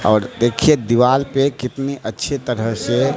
और देखिए दिवाल पे कितनी अच्छी तरह से--